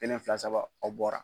Kelen fila saba o bɔra.